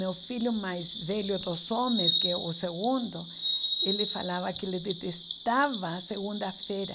Meu filho mais velho dos homens, que é o segundo, ele falava que ele detestava segunda-feira.